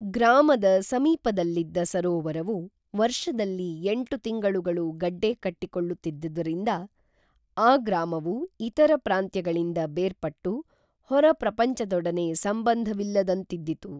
ಗ್ರಾಮದ ಸಮೀಪದಲ್ಲಿದ್ದ ಸರೋವರವು ವರ್ಷದಲ್ಲಿ ಎಂಟು ತಿಂಗಳುಗಳು ಗಡ್ಡೆ ಕಟ್ಟಿ ಕೊಳ್ಳುತ್ತಿದ್ದುದರಿಂದ ಆ ಗ್ರಾಮವು ಇತರ ಪ್ರಾಂತ್ಯಗಳಿಂತ ಬೇರ್ಪಟ್ಟು ಹೊರ ಪ್ರಪಂಚ ದೊಡನೆ ಸಂಬಂಧ ವಿಲ್ಲದಂತಿದ್ದಿತು